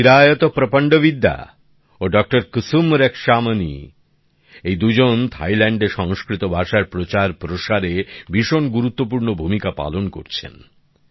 ডঃ চিরায়ত প্রপন্ডবিদ্যা ও ডঃ কুসুম রক্ষামণী এই দুজন থাইল্যান্ডে সংস্কৃত ভাষার প্রচার প্রসারে ভীষণ গুরুত্বপূর্ণ ভূমিকা পালন করছেন